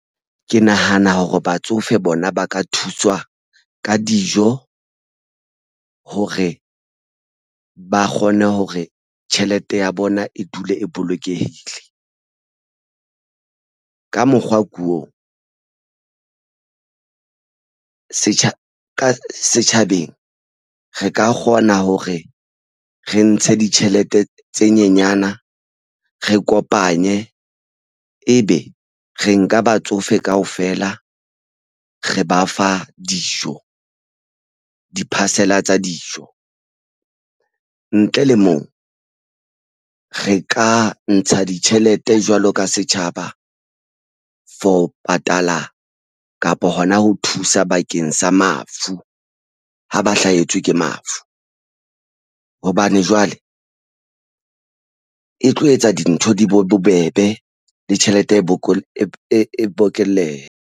Ke nahana hore batsofe bona ba ka thuswa ka dijo hore ba kgone hore tjhelete ya bona e dule e bolokehile ka mokgwa ko ka setjhabeng re ka kgona hore re ntshe ditjhelete tse nyenyana re kopanye ebe re nka batsofe kaofela re ba fa dijo di-parcel-a tsa dijo ntle le moo re ka ntsha ditjhelete jwalo ka setjhaba. For patala kapa hona ho thusa sa bakeng sa mafu ha ba hlahetswe ke mafu hobane jwale e tlo etsa dintho di bo bobebe le tjhelete e bokelle.